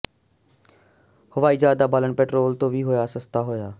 ਹਵਾਈ ਜਹਾਜ਼ ਦਾ ਬਾਲਣ ਪੈਟਰੋਲ ਤੋਂ ਵੀ ਹੋਇਆ ਸਸਤਾ ਹੋਇਆ